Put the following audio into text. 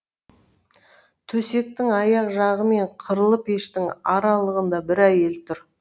төсектің аяқ жағы мен қырлы пештің аралығында бір әйел тұр